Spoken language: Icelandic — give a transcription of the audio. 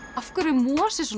af hverju er mosi svona